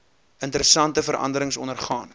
interessante veranderings ondergaan